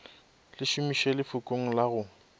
le šomiše lefokong la go